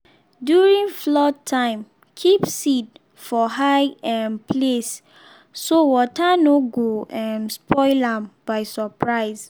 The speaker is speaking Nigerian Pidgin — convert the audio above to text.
during flood time keep seed for high um place so water no go um spoil am by surprise.